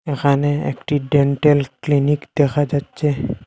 এখানে একটি dental clinic দেখা যাচ্ছে।